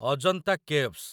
Ajanta caves